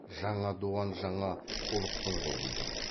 жаңа дуан жана ұлықтың қолында